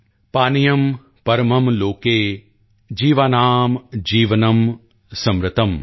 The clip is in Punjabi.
ਪਾਨਿਯਮ੍ ਪਰਮਮ੍ ਲੋਕੇ ਜੀਵਾਨਾਮ੍ ਜੀਵਨਮ੍ ਸਮ੍ਰਿਤਮ੍॥